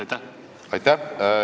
Aitäh!